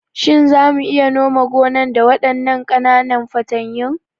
Shin za mu iya nome gonan da waɗannan ƙananan fatanyun?